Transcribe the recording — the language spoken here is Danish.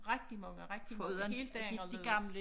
Rigtig mange rigtig mange helt anderledes